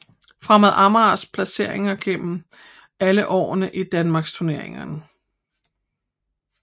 Fremad Amagers placeringer igennem alle årene i Danmarksturneringen